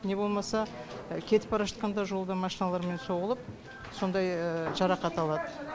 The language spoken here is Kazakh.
не болмаса кетіп бара жатқанда жолда машиналармен соғылып сондай жарақат алады